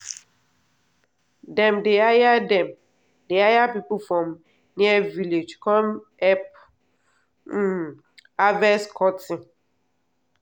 dem dey hire dem dey hire people from near village cum help um harvest cotton.